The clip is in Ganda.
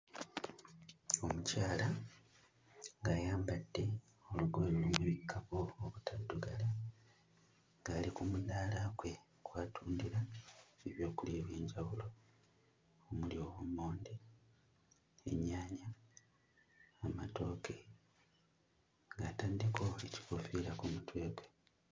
Omukyala ng'ayambadde olugoye olubikkako obutaddugala ng'ali ku mudaala gwe kw'atundira ebyokulya eby'enjawulo omuli obummonde, ennyaanya, amatooke, ng'ataddeko ekikoofiira ku mutwe gwe.